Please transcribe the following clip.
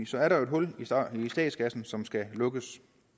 så er der jo et hul i statskassen som skal lukkes